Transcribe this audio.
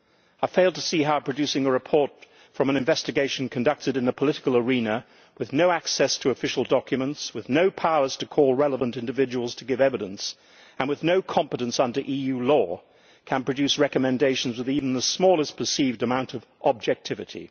I fail to see how producing a report from an investigation conducted in the political arena, with no access to official documents, with no powers to call relevant individuals to give evidence, and with no competence under EU law, can produce recommendations with even the smallest perceived amount of objectivity.